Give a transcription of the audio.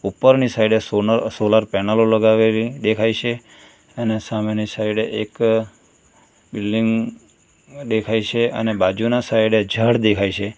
ઉપરની સાઈડ એ સોનલ સોલર પેનલો લગાવેલી દેખાય છે અને સામેની સાઈડ એ એક બિલ્ડીંગ દેખાય છે અને બાજુના સાઈડ ઝાડ દેખાય છે.